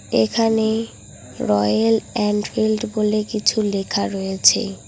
এখানে Royal Enfield বলে কিছু লেখা রয়েছে।